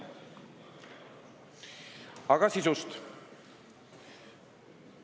Aga nüüd eelnõu sisust.